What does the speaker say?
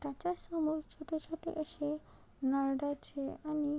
त्याच्या समोर छोटे छोटे अशे नारळाचे आणि --